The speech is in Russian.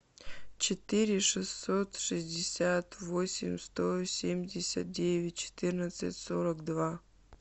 четыре шестьсот шестьдесят восемь сто семьдесят девять четырнадцать сорок два